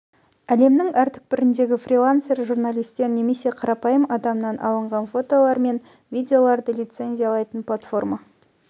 әлемнің әр түкпіріндегі фрилансер-журналистен немесе қарапайым адамнан алынған фотолар мен видеоларды лицензиялайтын платформа